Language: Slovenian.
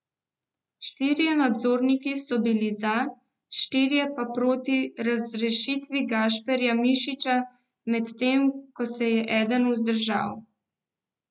Štirje nadzorniki so bili za, štirje pa proti razrešitvi Gašparja Mišiča, medtem ko se je eden vzdržal.